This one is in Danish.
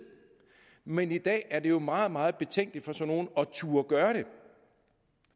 men i dag er det jo meget meget betænkeligt for sådan at turde gøre